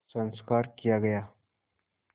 संस्कार किया गया